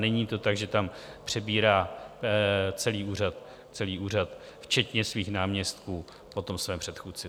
Není to tak, že tam přebírá celý úřad, včetně svých náměstků, po svém předchůdci.